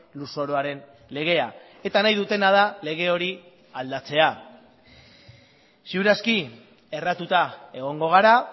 lurzoruaren legea eta nahi dutena da lege hori aldatzea ziur aski erratuta egongo gara